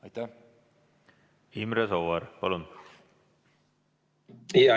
Imre Sooäär, palun!